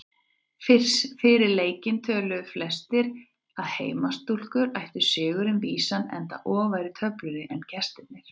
Fyrir leikinn töluðu flestir að heimastúlkur ættu sigurinn vísan enda ofar í töflunni en gestirnir.